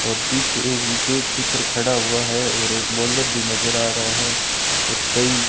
और पीछे एक विकेट कीपर खड़ा हुआ है और एक बॉलर भी नजर आ रहा है और कई--